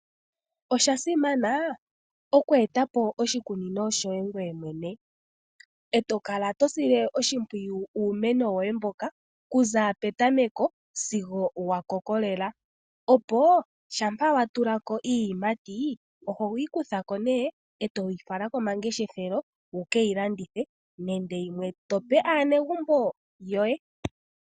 Osha simana okweeta po oshikunino shoye ngoye mwene, e to kala to sile oshimpwiyu uumeno woye mboka kuza petameko sigo wa koko lela opo shampa wa tula ko iiyimati ohoyi kutha ko nee etoyi fala komangeshefelo wuke yi landithe nenge yimwe to pe aanegumbo yoye.